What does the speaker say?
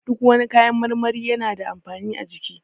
Duk wani kayan marmari yana da amfani a jiki